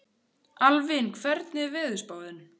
Alvin, hvernig er veðurspáin?